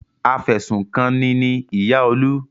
Afẹ̀sùnkanni ni ìyá Olú.